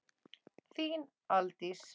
Þín Aldís.